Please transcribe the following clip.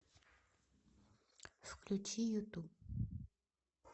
включи юту